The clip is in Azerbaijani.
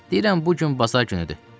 Deyirəm bu gün bazar günüdür.